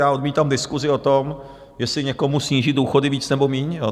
já odmítám diskusi o tom, jestli někomu snížit důchody více, nebo méně.